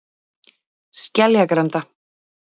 Skeljagranda